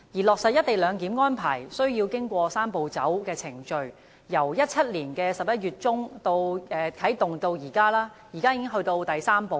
落實"一地兩檢"安排須經過"三步走"的程序，由2017年11月中啟動至今，現已到了最終的第三步。